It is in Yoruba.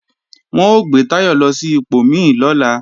Wọn ó gbé Táyọ̀ lọ sí ipò mí lọ́la